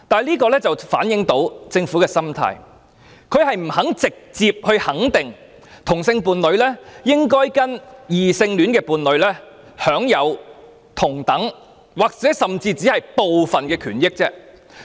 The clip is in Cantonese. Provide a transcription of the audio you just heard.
這足可反映政府的心態是不願意直接肯定同性伴侶應與異性伴侶一樣，享有同等甚或只是部分權益。